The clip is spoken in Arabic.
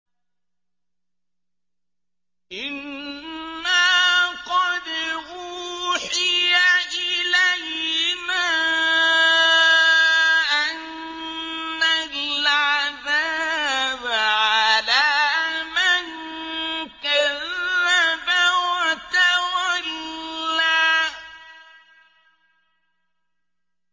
إِنَّا قَدْ أُوحِيَ إِلَيْنَا أَنَّ الْعَذَابَ عَلَىٰ مَن كَذَّبَ وَتَوَلَّىٰ